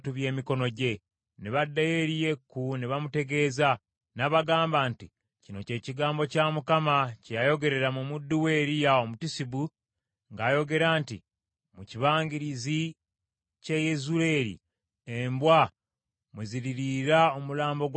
Ne baddayo eri Yeeku ne bamutegeeza. N’abagamba nti, “Kino kye kigambo kya Mukama , kye yayogerera mu muddu we Eriya Omutisubi ng’agamba nti, ‘Mu kibangirizi ky’e Yezuleeri, embwa mwe ziririira omulambo gwa Yezeberi.